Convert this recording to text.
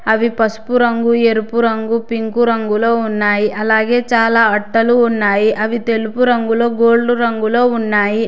అవి పసుపు రంగు ఎరుపు రంగు పింకు రంగులో ఉన్నాయి అలాగే చాలా అట్టలు ఉన్నాయి అవి తెలుపు రంగులో గోల్డ్ రంగులో ఉన్నాయి.